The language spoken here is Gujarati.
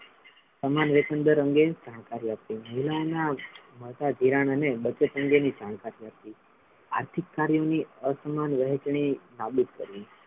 સમાન વ્યસનદર અંગે જાણકારી આપવી મહિલાઓનાં મધાધીરણ અને બચત અંગેની જાણકારી આપવી. આર્થિક કાર્ય ની અસમાન વહેચણી નાબૂદ કરવી છે.